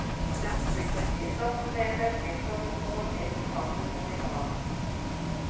De stoppet ved en bensinstasjon for å se på kartet hvor de var.